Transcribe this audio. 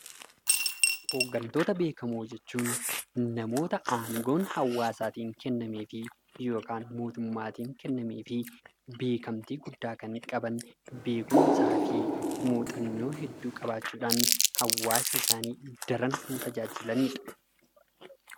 Hooggantoota beekamoo jechuun namoota yookiin namoota aangoo hawaasaatiin aangoon kennamee fi beekamtii guddaa kan qaban beekumsaa fi muuxannoo hedduu qabaachuudhaan hawaasa isaanii daran kan tajaajilanidha.